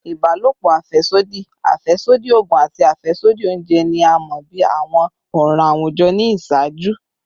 Ibalopo afẹsodi, afẹsodi oogun, ati afẹsodi ounjẹ ni a mọ bi awọn ọran awujọ ni iṣaaju